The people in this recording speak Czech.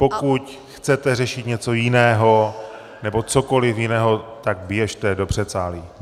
Pokud chcete řešit něco jiného nebo cokoliv jiného, tak běžte do předsálí.